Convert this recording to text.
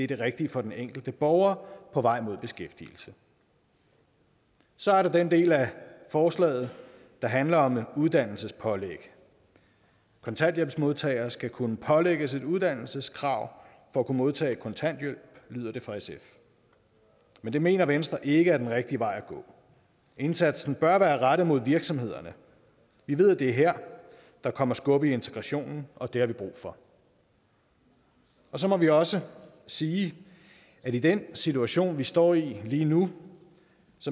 det rigtige for den enkelte borger på vej mod beskæftigelse så er der den del af forslaget der handler om uddannelsespålæg kontanthjælpsmodtagere skal kunne pålægges et uddannelseskrav for at kunne modtage kontanthjælp lyder det fra sf men det mener venstre ikke er den rigtige vej at gå indsatsen bør være rettet mod virksomhederne vi ved at det er her der kommer skub i integrationen og det har vi brug for så må vi også sige at i den situation vi står i lige nu